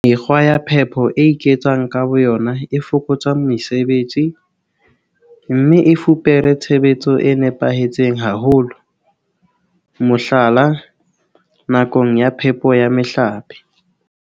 Mekgwa ya phepo e iketsang ka boyona e fokotsa mesebetsi, mme e fupere tshebetso e nepahetseng haholo, mohlala, nakong ya phepo ya mehlape.